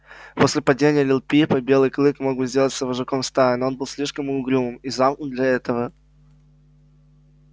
после падения лип липа белый клык мог бы сделаться вожаком стаи но он был слишком угрюм и замкнут для этого